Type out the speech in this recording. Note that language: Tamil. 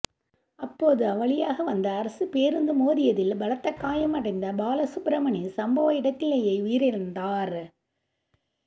அப்போது அவ்வழியாக வந்த அரசுப் பேருந்து மோதியதில் பலத்தகாயம் அடைந்த பாலசுப்பிரமணி சம்பவ இடத்திலேயே உயிரிழந்தாா்